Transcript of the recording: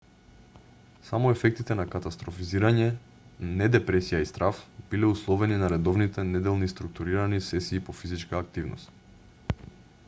само ефектите на катастрофизирање не депресија и страв биле условени на редовните неделни структурирани сесии по физичка активност